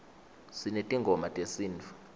sinetingoma tesinifu